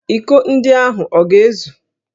Íkó ndị ahụ ọ ga-ezu?